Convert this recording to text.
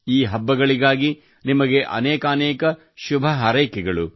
ಈ ಹಬ್ಬಗಳಿಗಾಗಿ ನಿಮಗೆ ಅನೇಕಾನೇಕ ಶುಭ ಹಾರೈಕೆಗಳು